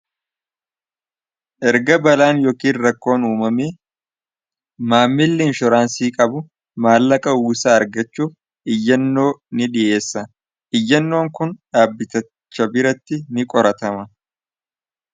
erga balaan yookiin rakkoon uumamee maammilli inshooraansii qabu maallaqa uwwisaa argachuuf iyyannoo ni dhiyeessa iyyannoon kun dhaabbitacha biratti ni qoratama